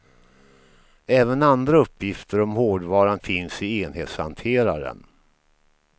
Även andra uppgifter om hårdvaran finns i enhetshanteraren.